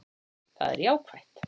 Það er jákvætt